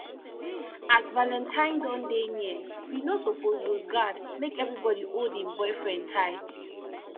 as valentine don dey near we no suppose lose guard make everybody hold im boyfriend tight